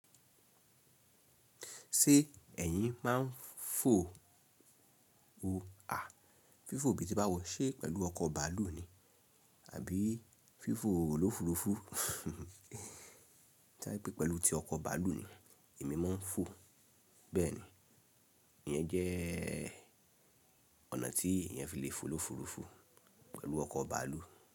Ṣé ẹ̀yin máa ń fo o à? Fífò bí ti bá wọ̀, ṣe pẹ̀lú ọkọ̀ bàálù ni àbí fífò olófurufú? Tí o ba je pé pẹ̀lú ti ọkọ̀ bàálù ni èmi máa ń fo, bẹ́ẹ̀ ni, ìyẹn jẹ́ ọ̀nà tí ìyẹn fi lè fo olófurufú pẹ̀lú ọkọ̀ bàálù.